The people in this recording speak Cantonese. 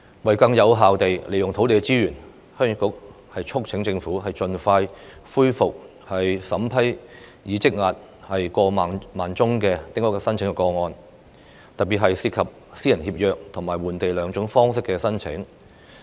為更有效地運用土地資源，鄉議局促請政府盡快恢復審批已積壓的過萬宗丁屋申請個案，特別是涉及私人協約和換地兩種方式的申請。